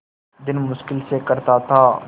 दिन मुश्किल से कटता था